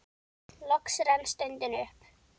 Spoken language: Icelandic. Loks rann stundin upp.